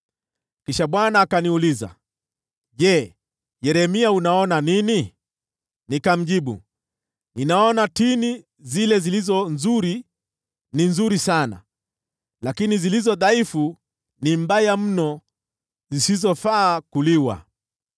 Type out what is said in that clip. Kisha Bwana akaniuliza, “Je, Yeremia, unaona nini?” Nikamjibu, “Ninaona tini zile zilizo nzuri ni nzuri sana, lakini zilizo dhaifu ni mbovu mno zisizofaa kuliwa.”